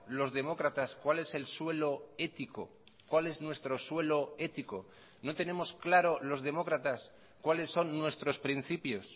los demócratas cuál es el suelo ético cuál es nuestro suelo ético no tenemos claro los demócratas cuales son nuestros principios